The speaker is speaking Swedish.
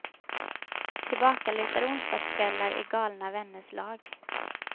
Tillbakalutade onsdagkvällar i galna vänners lag.